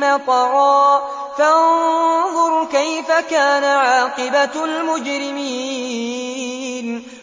مَّطَرًا ۖ فَانظُرْ كَيْفَ كَانَ عَاقِبَةُ الْمُجْرِمِينَ